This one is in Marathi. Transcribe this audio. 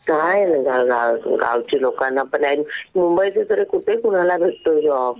काय गावची लोकांना पण आहेत. आणि मुंबईत तरी कुठे कुणाला भेटतोय जॉब.